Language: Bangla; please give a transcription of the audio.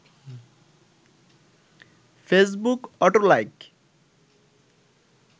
Facebook auto like